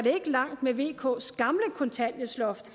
langt med vks gamle kontanthjælpsloft